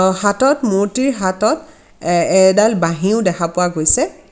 অ হাতত মূৰ্তিৰ হাতত এ এডাল বাঁহীও দেখা পোৱা গৈছে।